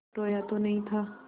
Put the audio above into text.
रोया तो नहीं था